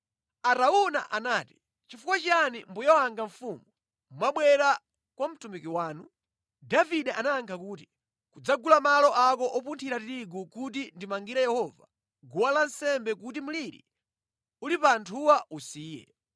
Arauna anati, “Nʼchifukwa chiyani mbuye wanga mfumu mwabwera kwa mtumiki wanu?” Davide anayankha kuti, “Kudzagula malo ako opunthira tirigu kuti ndimangire Yehova guwa lansembe kuti mliri uli pa anthuwa usiye.”